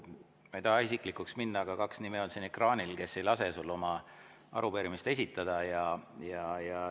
Ma ei taha isiklikuks minna, aga siin ekraanil on kaks nime, kes ei lase sul oma arupärimist esitada.